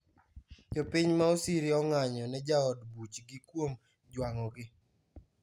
Jopiny ma Osiri onga'nyo ne jaod buchgi kuom juang'ogi